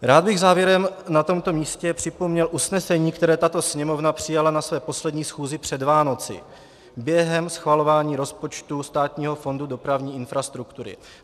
Rád bych závěrem na tomto místě připomněl usnesení, které tato Sněmovna přijala na své poslední schůzi před Vánoci během schvalování rozpočtu Státního fondu dopravní infrastruktury.